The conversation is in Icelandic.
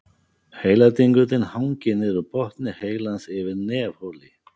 Heiladingullinn hangir niður úr botni heilans yfir nefholi.